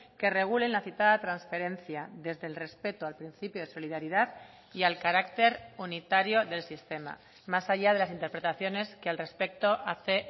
que regulen la citada transferencia desde el respeto al principio de solidaridad y al carácter unitario del sistema más allá de las interpretaciones que al respecto hace